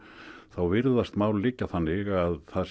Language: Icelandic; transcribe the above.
þá virðast mál liggja þannig að það